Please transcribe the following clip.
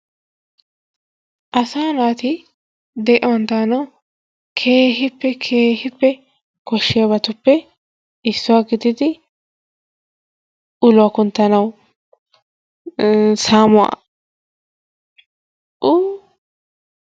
Asaa naati de'uwan daanawu keehippe keehippe koshiyabatuppe issuwa gididi uluwaa kunttanawu iin saamuwa uu